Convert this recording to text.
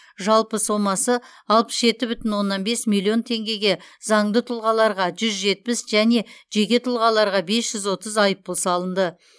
жалпы сомасы алпыс жеті бүтін оннан бес миллион теңгеге заңды тұлғаларға жүз жетпіс және жеке тұлғаларға бес жүз отыз айыппұл салынды